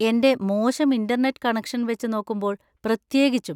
എൻ്റെ മോശം internet connection വെച്ചുനോക്കുമ്പോൾ പ്രത്യേകിച്ചും.